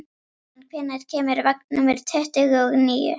Normann, hvenær kemur vagn númer tuttugu og níu?